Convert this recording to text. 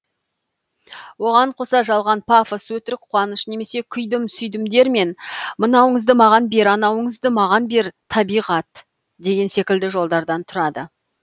оған қоса жалған пафос өтірік қуаныш немесе күйдім сүйдімдер мен мынауыңызды маған бер анауыңызды маған бер табиғат деген секілді жолдардан тұрады